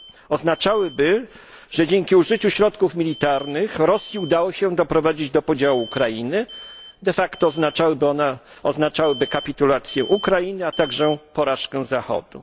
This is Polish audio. Oznaczałyby, że dzięki użyciu środków militarnych Rosji udało się doprowadzić do podziału Ukrainy, de facto oznaczałyby kapitulację Ukrainy, a także porażkę Zachodu.